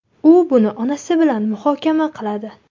U buni onasi bilan muhokama qiladi.